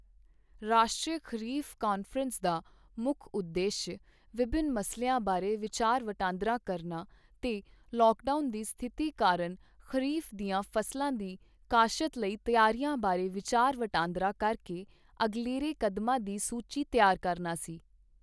ਰਾਸ਼ਟਰੀ ਖ਼ਰੀਫ਼ ਕਾਨਫ਼ਰੰਸ ਦਾ ਮੁੱਖ ਉਦੇਸ਼ ਵਿਭਿੰਨ ਮਸਲਿਆਂ ਬਾਰੇ ਵਿਚਾਰ ਵਟਾਂਦਰਾ ਕਰਨਾ ਤੇ ਲੌਕਡਾਊਨ ਦੀ ਸਥਿਤੀ ਕਾਰਨ ਖ਼ਰੀਫ਼ ਦੀਆਂ ਫ਼ਸਲਾਂ ਦੀ ਕਾਸ਼ਤ ਲਈ ਤਿਆਰੀਆਂ ਬਾਰੇ ਵਿਚਾਰ ਵਟਾਂਦਰਾ ਕਰ ਕੇ ਅਗਲੇਰੇ ਕਦਮਾਂ ਦੀ ਸੂਚੀ ਤਿਆਰ ਕਰਨਾ ਸੀ।